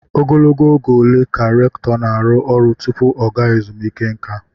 Ogologo oge ole ka rèktọ na-arụ ọrụ tupu oge ezumike nká?